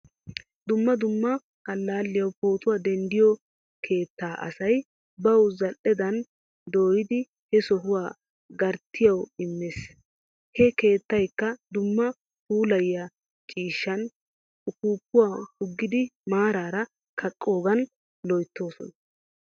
Dumma dumma allaliyawu pootuwaa denddiyo keettaa asay bawu zal'edan dooyidi he sohuwaa garttiyawu immees. He keettaakka dumma puulayiyaa ciishshaan uppupaa puggidi maarara kaqqiyogan loyttoosona.